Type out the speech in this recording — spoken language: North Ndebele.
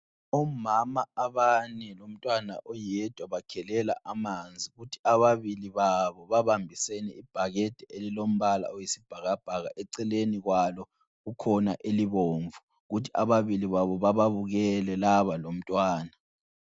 Omama abane lomntwana oyedwa bakhelela amanzi, kuthi ababili babo babambisene ibhakede elilombala oyisibhakabhaka eceleni kwalo kukhona elibomvu. Kuthi ababili babo bababukele laba lomntwana.